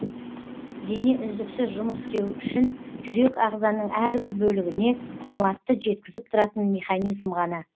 дене үздіксіз жұмыс істеу үшін жүрек ағзаның әрбір бөлігіне қуатты жеткізіп тұратын механизм ғана